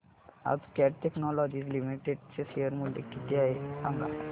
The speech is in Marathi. आज कॅट टेक्नोलॉजीज लिमिटेड चे शेअर चे मूल्य किती आहे सांगा